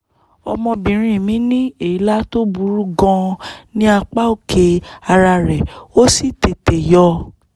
ọmọbìnrin mi ní èélá tó burú gan-an ní apá òkè ara rẹ̀ ó sì tètè yọ